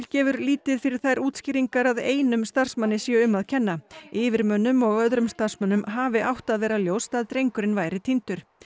gefur lítið fyrir þær útskýringar að einum starfsmanni sé um að kenna yfirmönnum og öðrum starfsmönnum hafi átt að vera ljóst að drengurinn væri týndur